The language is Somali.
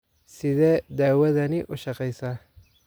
Sidee dawadani u shaqeysaa?